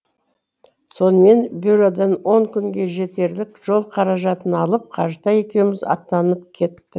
сонымен бюродан он күнге жетерлік жол қаражатын алып қажытай екеуіміз аттанып кет